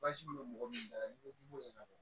Baasi bɛ mɔgɔ min na n'i ko k'i b'o ɲɛnabɔ